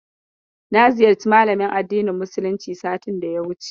Na ziyarci malamin addinin musuluncin satin da ya wuce.